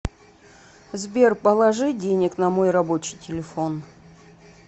сбер положи денег на мой рабочий телефон